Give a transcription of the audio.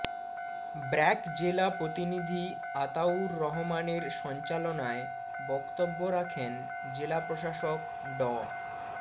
ব্র্যাক জেলা প্রতিনিধি আতাউর রহমানের সঞ্চালনায় বক্তব্য রাখেন জেলা প্রশাসক ড